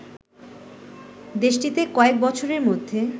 দেশটিতে কয়েক বছরের মধ্যে